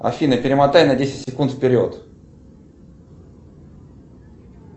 афина перемотай на десять секунд вперед